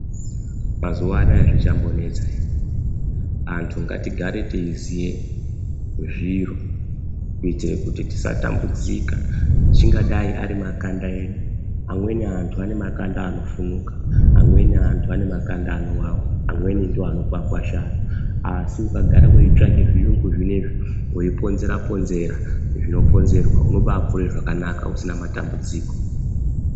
Mazuwa anaa zvichambonesa ere, anthu ngatigare teiziye zviro, kuitire kuti tisatambudzika, chingadai ari makanda edu. Amweni anthu ane makanda anofunuka, amweni anthu ane makanda anowawa, amweni ndoanokwakwashara, asi ukagara weitsvake zviyungu zvinezvi, weiponzera-ponzera zvinoponzerwa, unobaakure zvakanaka usina matambudziko.